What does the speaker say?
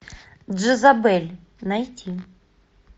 джезабель найти